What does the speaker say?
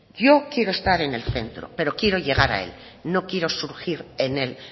yo quiero estar en el centro pero quiero llegar a él no quiero surgir en el